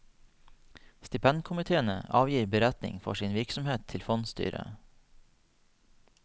Stipendkomiteene avgir beretning for sin virksomhet til fondsstyret.